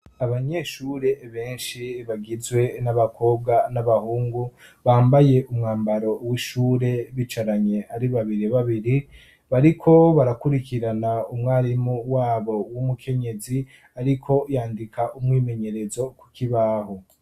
abanyeshure benshi bagizwe n'abakobwa n'abahungu bambaye umwambaro w'ishure bicaranye ari babiri babiri bariko barakurikirana umwarimu wabo w'umukenyezi ariko yandika umwimenyerezo ku kibaho